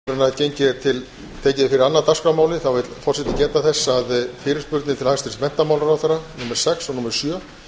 áður en tekið er fyrir annað dagskrármálið vill forseti geta þess að fyrirspurnir til hæstvirts menntamálaráðherra númer sex og númer sjö